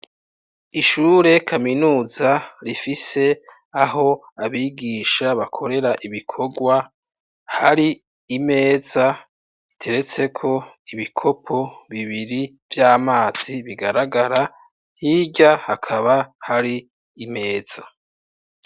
Ishure kaminuza rifise aho abigisha bakorera ibikorwa, hari imeza iteretseko ibikopo bibiri vy'amazi bigaragara, hirya hakaba hari imeza.